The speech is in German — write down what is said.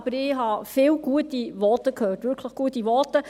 Aber ich habe viele gute Voten gehört, wirklich gute Voten.